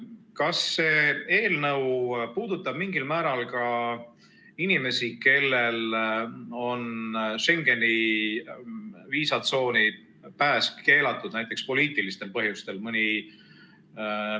Kas see eelnõu puudutab mingil määral ka inimesi, kellel on Schengeni viisatsooni pääs keelatud näiteks poliitilistel põhjustel?